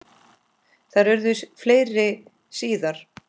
Þær urðu fleiri síðar.